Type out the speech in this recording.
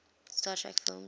star trek film